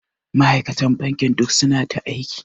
Ma'aikatan bankin duk suna ta aiki.